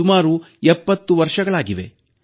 ಸುಮಾರು 70 ವರ್ಷಗಳಾಗಿವೆ